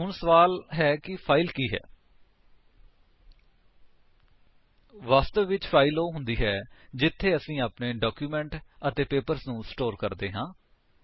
ਹੁਣ ਸਵਾਲ ਹੈ ਕਿ ਫਾਇਲ ਕੀ ਹੈ160 ਵਾਸਤਵ ਵਿੱਚ ਫਾਇਲ ਉਹ ਹੁੰਦੀ ਹੈ ਜਿੱਥੇ ਅਸੀ ਆਪਣੇ ਡਾਕਿਊਮੇਂਟਸ ਅਤੇ ਪੇਪਰਸ ਨੂੰ ਸਟੋਰ ਕਰਦੇ ਹਾਂ